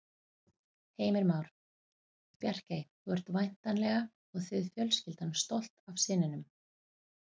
Heimir Már: Bjarkey, þú ert væntanlega og þið fjölskyldan stolt af syninum?